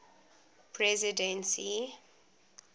presidency